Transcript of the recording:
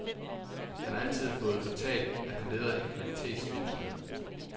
Han har altid fået fortalt, at han leder en kvalitetsvirksomhed.